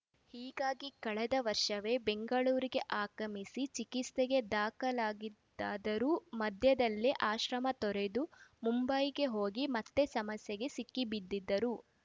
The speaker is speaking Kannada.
ಹೀಗಾಗಿ ಕಳೆದ ವರ್ಷವೇ ಬೆಂಗಳೂರಿಗೆ ಆಗಮಿಸಿ ಚಿಕಿತ್ಸೆಗೆ ದಾಖಲಾಗಿದ್ದರಾದರೂ ಮಧ್ಯದಲ್ಲೇ ಆಶ್ರಮ ತೊರೆದು ಮುಂಬೈಗೆ ಹೋಗಿ ಮತ್ತೆ ಸಮಸ್ಯೆಗೆ ಸಿಕ್ಕಿಬಿದ್ದಿದ್ದರು